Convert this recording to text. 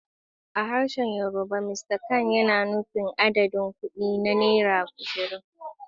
A harshen Yorùbá, "Mr kan" yana nufin adadin kuɗi na naira ashirin.